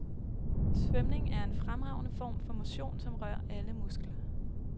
Svømning er en fremragende form for motion, som rører alle muskler.